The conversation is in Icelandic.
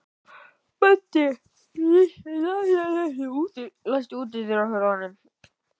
Böddi, læstu útidyrunum.